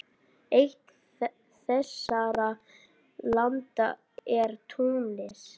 Eitt þessara landa er Túnis.